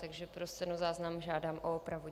Takže pro stenozáznam žádám o opravu.